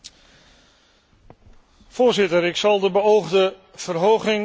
Voorzitter, ik zal de beoogde verhoging van het budget niet steunen.